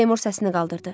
Seymur səsini qaldırdı.